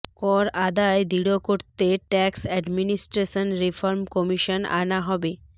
কর আদায় দৃঢ় করতে ট্যাক্স অ্যাডমিনিস্ট্রেশন রিফর্ম কমিশন আনা হবে